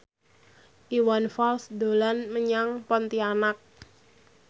Iwan Fals dolan menyang Pontianak